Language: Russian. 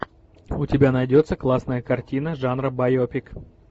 у тебя найдется классная картина жанра байопик